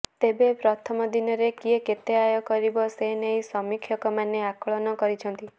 ତେବେ ପ୍ରଥମ ଦିନରେ କିଏ କେତେ ଆୟ କରିବ ସେ ନେଇ ସମୀକ୍ଷକମାନେ ଆକଳନ କରିଛନ୍ତି